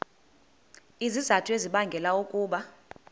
izizathu ezibangela ukuba